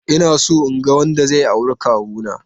Inaso inga wanda zai auri kawuna.